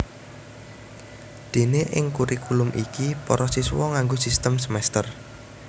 Déné ing kurikulum iki para siswa nganggo sistem semèster